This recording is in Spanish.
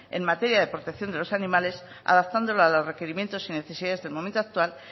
en materia de protección de los animales adaptándola a los requerimientos y necesidades del momento actual